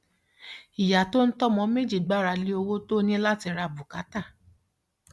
ìyá tó ń tọ ọmọ méjì gbára lé owó tó ní láti ra bùkátà